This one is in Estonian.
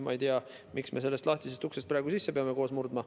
Ma ei tea, miks me sellest lahtisest uksest peame praegu koos sisse murdma.